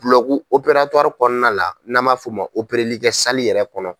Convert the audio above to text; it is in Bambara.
Bulɔgu kɔnɔna la n'an m'a fɔ o ma operelikɛ yɛrɛ kɔnɔ.